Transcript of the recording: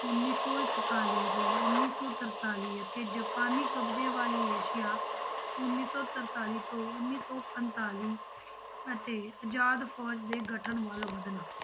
ਉੱਨੀ ਸੌ ਇਕਤਾਲੀ ਤੋਂ ਉੱਨੀ ਸੌ ਤਰਤਾਲੀ ਅਤੇ ਜਪਾਨੀ ਕਬਜ਼ੇ ਵਾਲੇ ਏਸੀਆ ਉੱਨੀ ਸੌ ਤਰਤਾਲੀ ਤੋਂ ਉੱਨੀ ਸੌ ਪੰਤਾਲੀ ਅਤੇ ਆਜ਼ਾਦ ਫ਼ੌਜ ਦੇ ਗਠਨ ਵੱਲ ਵਧਣਾ।